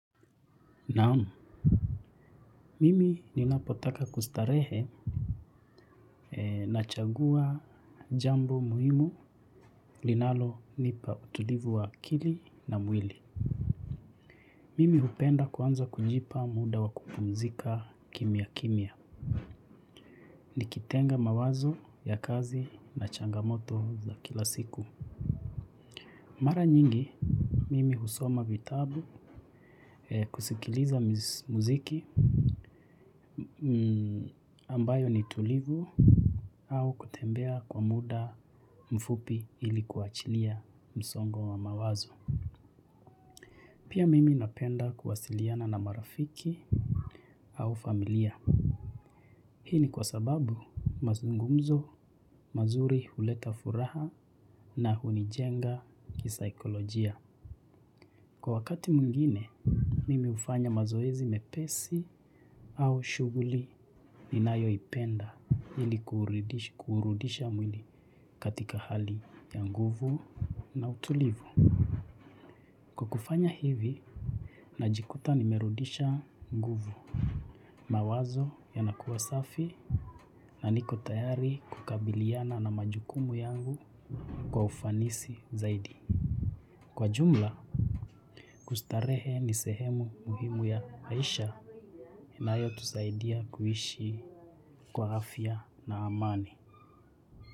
Naam, mimi ninapotaka kustarehe nachagua jambo muhimu linalonipa utulivu wa akili na mwili. Mimi hupenda kuanza kujipa muda wa kukumzika kimya kimya. Nikitenga mawazo ya kazi na changamoto za kila siku. Mara nyingi, mimi husoma vitabu kusikiliza mziki ambayo ni tulivu au kutembea kwa muda mfupi ili kuachilia msongo wa mawazo. Pia mimi napenda kuwasiliana na marafiki au familia. Hii ni kwa sababu mazungumzo, mazuri huleta furaha na hunijenga kisaikolojia. Kwa wakati mwngine, mimi hufanya mazoezi mepesi au shughuli ninayoipenda ili kuurudisha mwili katika hali ya nguvu na utulivu. Kwa kufanya hivi, najikuta nimerudisha nguvu. Mawazo yanakuwa safi. Na niko tayari kukabiliana na majukumu yangu kwa ufanisi zaidi. Kwa jumla, kustarehe ni sehemu muhimu ya maisha inayotusaidia kuishi kwa afya na amani.